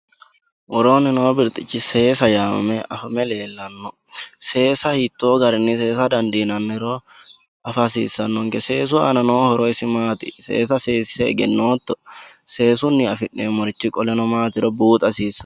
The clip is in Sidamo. Woronni no birixichi seesa yamame afame lelano seesa hitto garinni seesa dandinaniro afa hasisanonke seesu ana no hooro isi matti seesa seese egenoto seesunni afinaniri isi matiro buxa hasisanonke